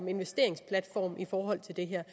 investeringsplatform i forhold til det her